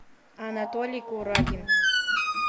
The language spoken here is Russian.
анатолий курагин